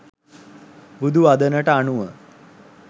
බුදු වදනට අනුව